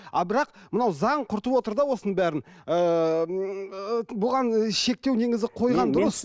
а бірақ мынау заң құртып отыр да осының бәрін ыыы бұған шектеу негізі қойған дұрыс